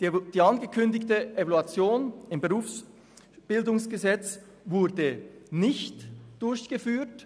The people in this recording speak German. Die mit dem Gesetz über die Berufsbildung, die Weiterbildung und Berufsberatung (BerG) angekündigte Evaluation wurde nicht durchgeführt.